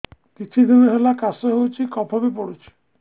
କିଛି ଦିନହେଲା କାଶ ହେଉଛି କଫ ବି ପଡୁଛି